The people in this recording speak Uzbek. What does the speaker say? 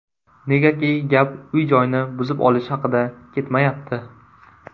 Negaki gap uy-joyni buzib olish haqida ketmayapti.